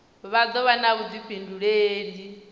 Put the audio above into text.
vha do vha na vhudifhinduleli